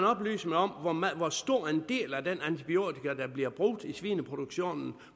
oplyse mig om hvor stor en del af de antibiotika der bliver brugt i svineproduktionen